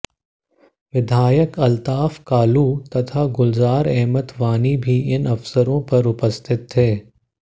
विधाकय अल्ताफ कालू तथा गुलजार अहमद वानी भी इन अवसरों पर उपस्थित थे